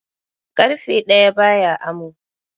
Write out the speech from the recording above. Karfe daya ba ya amo